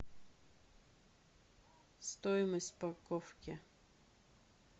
стоимость парковки